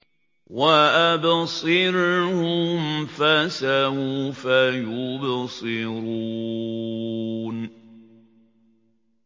وَأَبْصِرْهُمْ فَسَوْفَ يُبْصِرُونَ